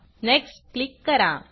next click करा